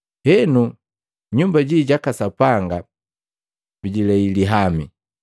Henu nyumba ji jaka Sapanga bijilei lihami.